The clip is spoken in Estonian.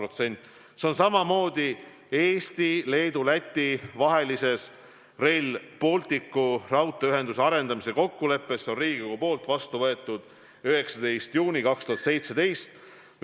See on samamoodi kirjas Eesti, Leedu ja Läti vahelises Rail Balticu raudteeühenduse arendamise kokkuleppes, mis on Riigikogus vastu võetud 19. juuni 2017.